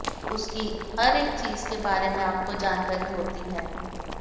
उसकी हर एक चीज के बारे में आपको जानकारी होती है